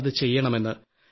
നമ്മളത് ചെയ്യണമെന്ന്